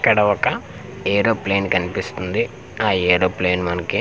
ఇక్కడ ఒక ఏరోప్లేన్ కనిపిస్తుంది ఆ ఏరోప్లేన్ మనకి--